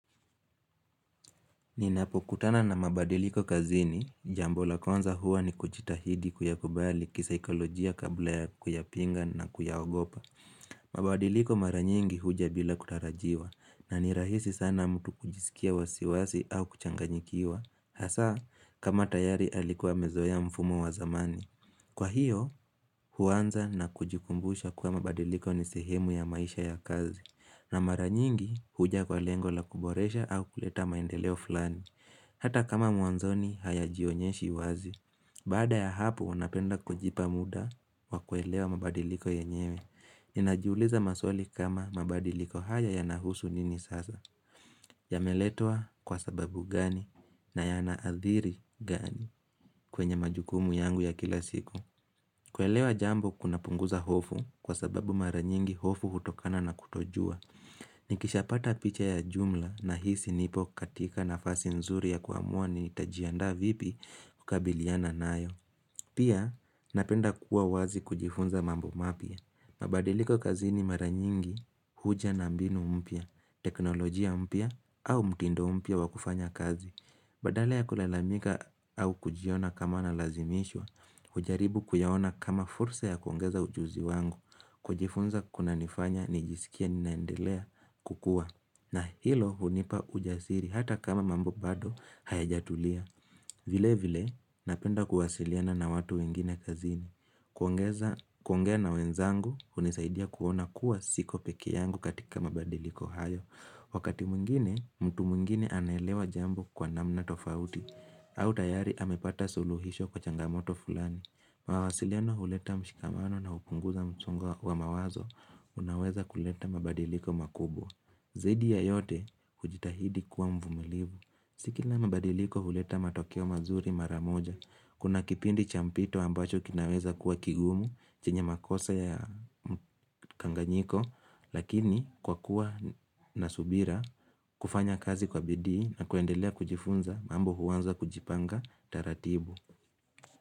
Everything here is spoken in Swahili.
Ninapokutana na mabadiliko kazini, jambo la kwanza huwa ni kujitahidi kuyakubali kisaikolojia kabla ya kuyapinga na kuyaogopa. Mabadiliko mara nyingi huja bila kutarajiwa, na ni rahisi sana mtu kujisikia wasiwasi au kuchanganyikiwa, hasaa, kama tayari alikuwa amezoa mfumo wa zamani. Kwa hiyo, huanza na kujikumbusha kuwa mabadiliko ni sehemu ya maisha ya kazi, na mara nyingi, huja kwa lengo la kuboresha au kuleta maendeleo fulani. Hata kama mwanzoni hayajionyeshi wazi. Baada ya hapo, napenda kujipa muda wa kuelewa mabadiliko yenyewe. Ninajiuliza maswali kama mabadiliko haya yanahusu nini sasa. Yameletwa kwa sababu gani, na yanaadhiri gani, kwenye majukumu yangu ya kila siku. Kuelewa jambo kunapunguza hofu, kwa sababu mara nyingi hofu hutokana na kutojua. Nikisha pata picha ya jumla, nahisi nipo katika nafasi nzuri ya kuamua nitajiandaa vipi kukabiliana nayo. Pia, napenda kuwa wazi kujifunza mambo mapya. Mabadiliko kazini mara nyingi, huja na mbinu mpya, teknolojia mpya, au mtindo mpya wa kufanya kazi. Badala ya kulalamika au kujiona kama nalazimishwa, hujaribu kuyawona kama fursa ya kuongeza ujuzi wangu, kujifunza kuna nifanya nijisikie ninaendelea kukua, na hilo hunipa ujasiri hata kama mambo bado hayajatulia. Vile vile, napenda kuwasiliana na watu wengine kazini. Kuongeza kuongea na wenzangu, hunisaidia kuona kuwa siko peke yangu katika mabadiliko hayo. Wakati mwngine, mtu mwingine anelewa jambo kwa namna tofauti, au tayari amepata suluhisho kwa changamoto fulani. Mawasiliano huleta mshikamano na hupunguza msongo wa mawazo, unaoweza kuleta mabadiliko makubwa. Zaidi ya yote hujitahidi kuwa mvumilivu. Si kila mabadiliko huleta matokeo mazuri mara moja. Kuna kipindi cha mpito ambacho kinaweza kuwa kigumu, chenye makosa ya kanganyiko lakini kwa kuwa na subira, kufanya kazi kwa bidii, na kuendelea kujifunza, mambo huanza kujipanga taratibu.